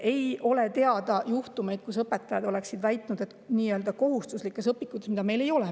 " Ei ole teada juhtumeid, et õpetajad oleksid väitnud, et nii-öelda kohustuslikes õpikutes, mida meil ei ole …